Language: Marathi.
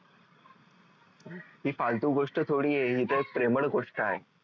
ही फालतू गोष्ट थोडी आहे ही तर प्रेमळ गोष्ट आहे